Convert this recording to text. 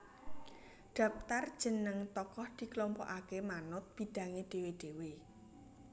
Dhaptar jeneng tokoh dikelompokake manut bidhange dhewe dhewe